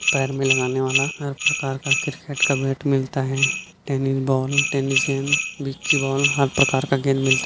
पैर में लगाने वाला हर प्रकार का क्रिकेट का बैट मिलता हैं टैनी बॉल टैनिस गेंद विक्की बॉल हर प्रकार का गेंद मिलता हैं।